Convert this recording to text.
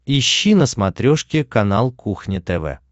ищи на смотрешке канал кухня тв